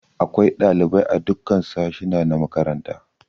Akwai ɗalibai a dukkan sashuna na makaranta.